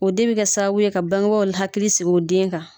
O de bɛ ka sababu ye ka baŋebaa l hakili sig'u den kan.